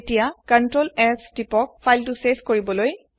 এতিয়া তিপক ctrls file save কৰিবলে